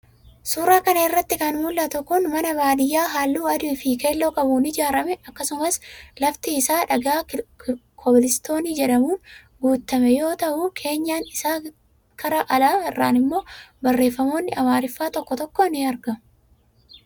Suuraa kanarraa kan mul'atu kun mana baadiyyaa halluu adii fi keelloo qabuun ijaarame akkasumas lafti isaa dhagaa kobilistoonii jedhamuun guutame yoo ta'u, keenyan isaa karaa alaa irraan immoo barreeffamoonni amaariffaa tokko tokko ni argamu.